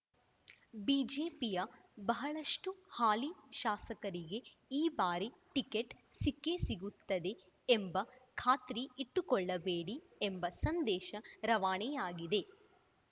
ಬಿಜೆಪಿಯ ಬಹಳಷ್ಟುಹಾಲಿ ಶಾಸಕರಿಗೆ ಈ ಬಾರಿ ಟಿಕೆಟ್‌ ಸಿಕ್ಕೇ ಸಿಗುತ್ತದೆ ಎಂಬ ಖಾತ್ರಿ ಇಟ್ಟುಕೊಳ್ಳಬೇಡಿ ಎಂಬ ಸಂದೇಶ ರವಾನೆಯಾಗಿದೆ